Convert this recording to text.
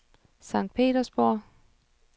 Sankt Petersborg